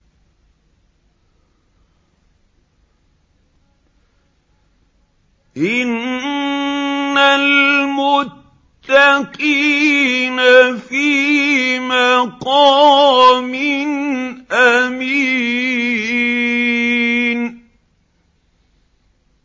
إِنَّ الْمُتَّقِينَ فِي مَقَامٍ أَمِينٍ